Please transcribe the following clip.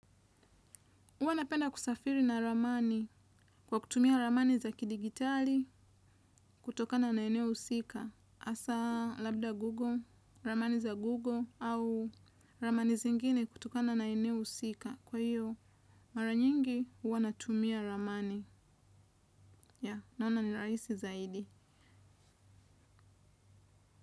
Uwa napenda kusafiri na ramani kwa kutumia ramani za kidigitali kutokana na eneo usika. Asa, labda Google, ramani za Google au ramani zingine kutokana na eneo usika. Kwa hiyo, mara nyingi uwa natumia ramani. Ya, naona ni raisi zaidi.